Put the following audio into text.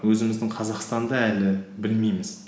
өзіміздің қазақстанды әлі білмейміз